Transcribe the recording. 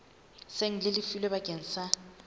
seng le lefilwe bakeng sa